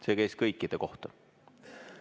See käis kõikide kohta.